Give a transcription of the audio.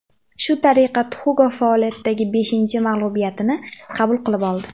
Shu tariqa Tuxugov faoliyatidagi beshinchi mag‘lubiyatini qabul qilib oldi.